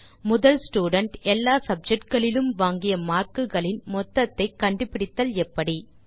முதல் ஸ்டூடென்ட் எல்லா சப்ஜெக்ட் களிலும் வாங்கிய மார்க் களின் மொத்தத்தை கண்டுபிடித்தல் எப்படி